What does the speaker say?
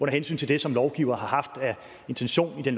hensyn til det som lovgiverne har haft af intentioner med